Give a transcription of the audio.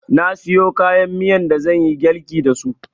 Na siyo kayan miyan da zanyi girlki dasu